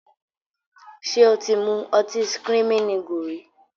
Ṣé o ti mú ọtí "screaming eagle" rí?